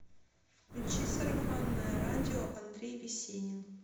включи сарафанное радио андрей весенин